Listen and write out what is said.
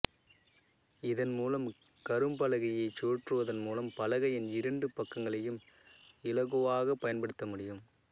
இதன்மூலம் கரும்பலகையைச் சுழற்றுவதன் மூலம் பலகையின் இரண்டு பக்கங்களையும் இலகுவாகப் பயன்படுத்த முடியும்